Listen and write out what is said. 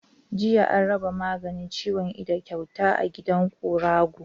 Jiya an raba maganin ciwon ido kyauta a gidan guragu.